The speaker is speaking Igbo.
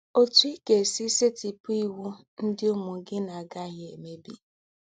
“Òtú Í Gà-èsí Sètípù Íwú Ndí́ Úmù Gí Nà-àgàghí Èmèbí”